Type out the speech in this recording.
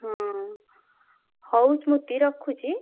ହଁ ହଉ ସ୍ମୃତି ରଖୁଛି।